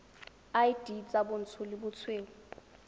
id tsa bontsho le bosweu